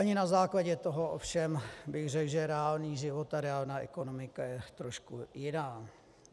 Ani na základě toho ovšem bych řekl, že reálný život a reálná ekonomika je trošku jiná.